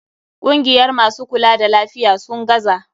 Kungiyar masu kula da lafiya, sun gaza.